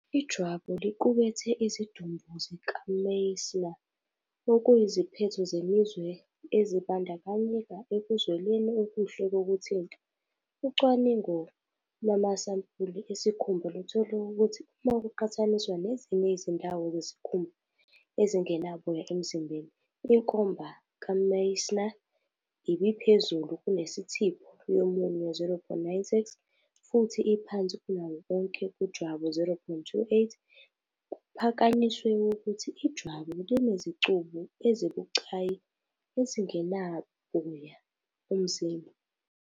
Ijwabu liqukethe izidumbu zikaMeissner, okuyiziphetho zemizwa ezibandakanyeka ekuzweleni okuhle kokuthinta. Ucwaningo lwamasampuli esikhumba luthole ukuthi, uma kuqhathaniswa nezinye izindawo zesikhumba ezingenaboya emzimbeni, inkomba kaMeissner ibiphezulu kunethiphu yomunwe, 0.96, futhi iphansi kunawo onke kujwabu, 0.28, kuphakanyiswe ukuthi ijwabu linezicubu ezibucayi ezingenaboya umzimba.